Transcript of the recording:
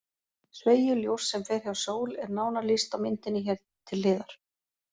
Sveigju ljóss sem fer hjá sól er nánar lýst á myndinni hér til hliðar.